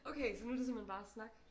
Okay så nu det simpelthen bare snak?